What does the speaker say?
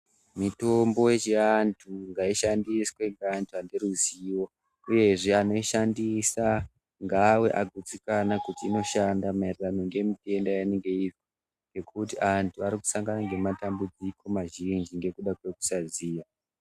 Mitombo yechiantu ngaishandiswe ngeantu ane ruzivo uyezve anoishandisa ngaave agutsikana kuti inoshanda maererano ngemitenda yeinenge iri ngekuti antu ari kusangana nematambudziko mazhinji ngekuda kwekusaziya.